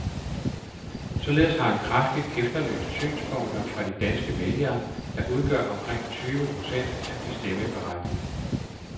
Således har han kraftigt efterlyst synspunkter fra de danske vælgere, der udgør omkring tyve procent af de stemmeberettigede.